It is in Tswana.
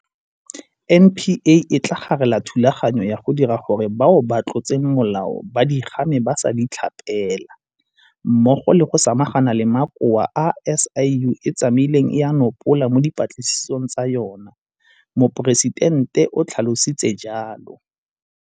NPA e tla garela thulaganyo ya go dira gore bao ba tlotseng molao ba di game ba sa di tlhapela mmogo le go samagana le makoa a SIU e tsamaileng e a nopola mo dipatlisisong tsa yona, Moporesitente o tlha lositse jalo.